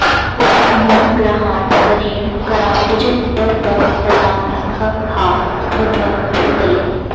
मम गृहाण करेण कराम्बुजं प प पतामि ह हा भ भ भूतले